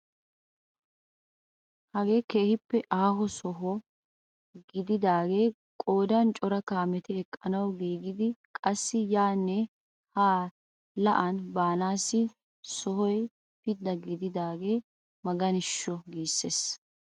Hagee keehippe aaho sohuwaa gididagee qoodan cora kaameti eqqanawu gididee qassi yaanne haa la'aan banaassi sohoykka pidda gididagee maganishsho! giises.